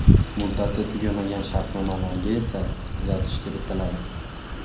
Muddati tugamagan shartnomalarga esa tuzatish kiritiladi.